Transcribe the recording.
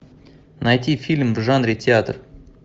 найти фильм в жанре театр